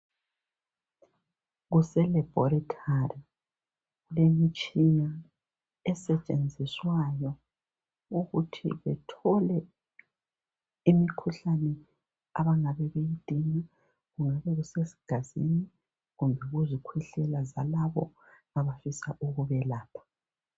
KuseLaboratory, imitshina esetshenziswayo ukuthi bethole imikhuhlane abangabe beyqidinga, Kungabe kusegazini, kumbe kuzikhwehlela, zalabo abafisa ukubelapha.